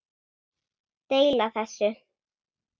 Deila þessu